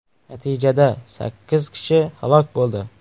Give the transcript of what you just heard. Natijada sakkiz kishi halok bo‘ldi.